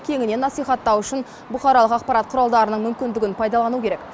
кеңінен насихаттау үшін бұқаралық ақпарат құралдарының мүмкіндігін пайдалану керек